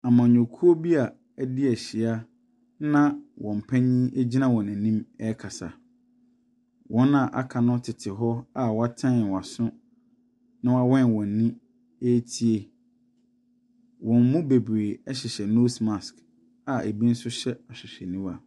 Amanyɔkuo a bi a afi ahyia a na wɔn panin gyina wɔn anim ne wɔn ɛrekasa. Wɔn a aka no tete hɔ a wɔakyɛn wɔn aso na wɔawen wɔn anim ɛretie. Wɔn mu bebree ɛhyehyɛ nose mask a ɛbi nso hyɛ ahwehwɛniwa.